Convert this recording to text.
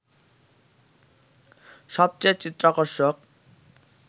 সবচেয়ে চিত্তাকর্ষক